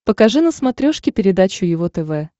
покажи на смотрешке передачу его тв